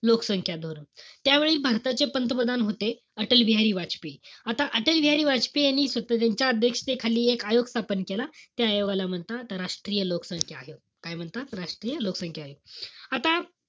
लोकसंख्या धोरण. त्यावेळी भारताचे पंतप्रधान होते, अटलबिहारी वाजपेयी. आत अटलबिहारी वाजपेयी यांनी त्यांच्या अध्यक्षतेखाली एक आयोग स्थापन केला. त्या आयोगाला म्हणतात राष्ट्रीय लोकसंख्या आयोग. काय म्हणतात? राष्ट्रीय लोकसंख्या आयोग. आता,